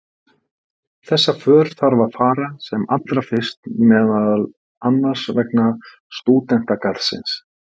Þessa för þarf að fara sem allra fyrst meðal annars vegna stúdentagarðsins.